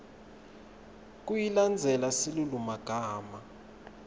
kuyilandzela silulumagama